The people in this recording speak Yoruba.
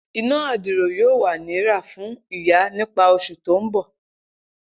Ina adiro yoo wa ni ra fun iya nipa osu to nbo.